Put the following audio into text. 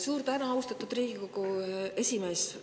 Suur tänu, austatud Riigikogu esimees!